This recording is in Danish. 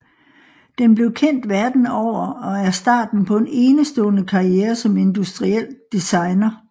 Den bliver kendt verden over og er starten på en enestående karriere som industriel designer